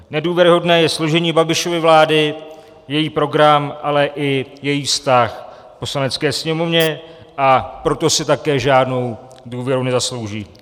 Nedůvěryhodné je složení Babišovy vlády, její program, ale i její vztah k Poslanecké sněmovně, a proto si také žádnou důvěru nezaslouží.